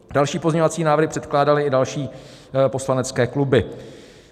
Další pozměňovací návrhy předkládaly i další poslanecké kluby.